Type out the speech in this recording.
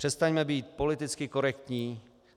Přestaňme být politicky korektní.